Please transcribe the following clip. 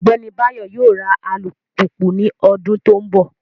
Ogbeni Bayo yoo ra alupupu ni odun to nbo